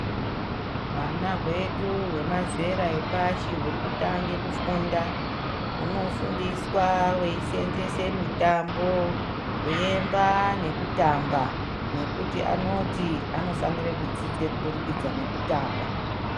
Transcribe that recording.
Hwana hwedu hwemazera epashi huri kutange kufunda, hunofunda veiseenzese mitambo, kuemba nekutamba, nekuti anoti anofanire kudzidze kuburikidza nekutamba.